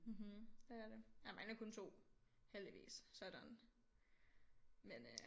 Mhm det er det jeg mangler kun 2 heldigvis så er jeg done men øh